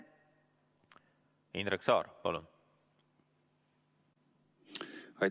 Indrek Saar, palun!